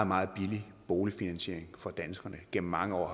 meget billig boligfinansiering for danskerne igennem mange år og